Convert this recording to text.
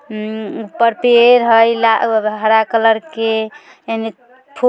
ऊपर पेड़ है ला हरा कलर के--